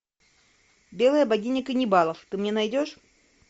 белая богиня каннибалов ты мне найдешь